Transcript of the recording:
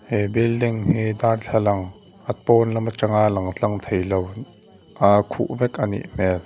he building hi darthlalang a pawn lam atanga lang tlang thei lo a khuh vek a nih hmel.